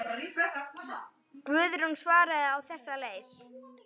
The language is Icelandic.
Guðrún svaraði á þessa leið.